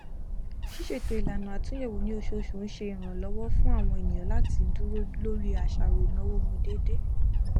ṣíṣètò ìlànà atúnyẹwò ni oṣooṣù ń ṣe ìrànlọwọ fún àwọn ènìyàn láti dúró lórí àṣàrò ìnáwó wọn déédéé